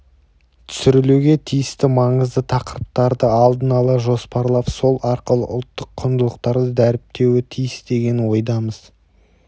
түсірілуге тиісті маңызды тақырыптарды алдын ала жоспарлап сол арқылы ұлттық құндылықтарды дәріптеуі тиіс деген ойдамыз